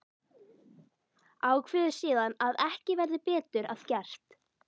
Ákveður síðan að ekki verði betur að gert.